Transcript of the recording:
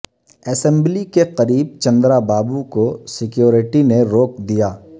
assembly کے قریب چندرابابو کو سیکوریٹی نے روک دیا